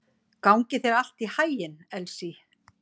Gangi þér allt í haginn, Elsý.